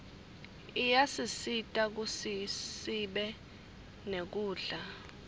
iyasisita kutsisibe nekudla